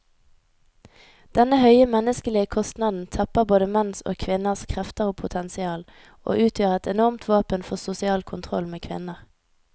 Denne høye menneskelige kostnaden tapper både menns og kvinners krefter og potensial, og utgjør et enormt våpen for sosial kontroll med kvinner.